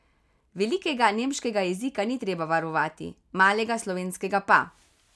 Velikega nemškega jezika ni treba varovati, malega slovenskega pa.